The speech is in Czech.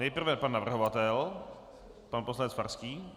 Nejprve pan navrhovatel, pan poslanec Farský.